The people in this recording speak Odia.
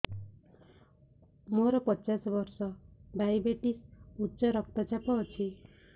ମୋର ପଚାଶ ବର୍ଷ ଡାଏବେଟିସ ଉଚ୍ଚ ରକ୍ତ ଚାପ ଅଛି